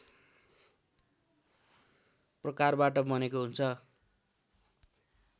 प्रकारबाट बनेको हुन्छ